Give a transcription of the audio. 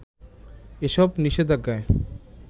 এসব নিষেধাজ্ঞায়